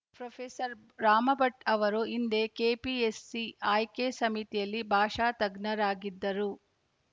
professor Rama Bhat ಅವರು ಹಿಂದೆ KPSC ಆಯ್ಕೆ ಸಮಿತಿಯಲ್ಲಿ ಭಾಷಾ ತಜ್ಞರಾಗಿದ್ದರು